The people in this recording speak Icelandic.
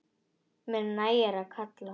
Mér nægir að kalla.